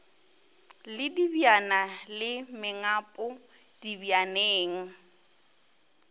le dibjana le mengapo dibjaneng